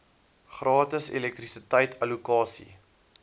gratis elektrisiteit allokasie